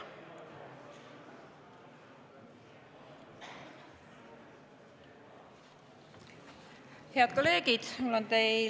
Head kolleegid!